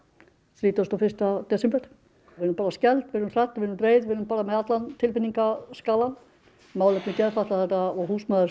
þrítugasta og fyrsta desember við erum skelfd við erum reið við erum með allan tilfinningaskalann málefni geðfatlaðra og